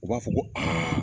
U b'a fɔ ko aa